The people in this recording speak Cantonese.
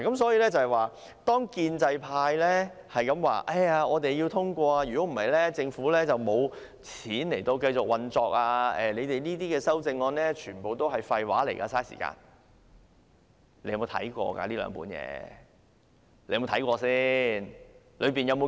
所以，當建制派不斷說我們要通過預算案，否則政府便沒有錢繼續運作，全部預算案修正案都是廢話，浪費時間的時候，他們有否看過這兩份文件？